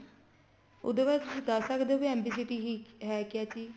ਉਹਦੇ ਬਾਰੇ ਤੁਸੀਂ ਦੱਸ ਸਕਦੇ ਵੀ MB city ਹੈ ਕਿਆ ਚੀਜ਼